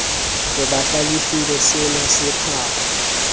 re ba hlalefile senase pakwa